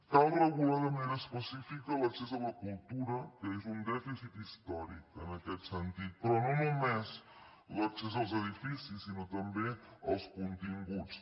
cal regular de manera específica l’accés a la cultura que és un dèficit històric en aquest sentit però no només l’accés als edificis sinó també als continguts